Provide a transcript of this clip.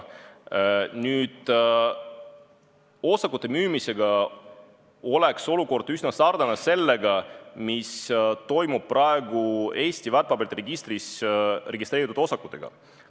Nüüd, osakute müümisel oleks olukord üsna sarnane sellega, mis toimub praegu Eesti väärtpaberite registris registreeritud osakutega.